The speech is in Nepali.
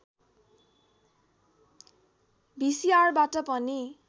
भिसिआरबाट पनि